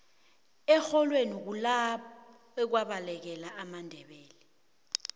erholweni kulapha kwabalekela amandebele